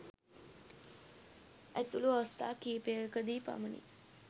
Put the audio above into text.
ඇතුළු අවස්ථා කිහිපයකදී පමණි.